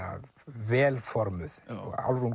vel formuð Álfrún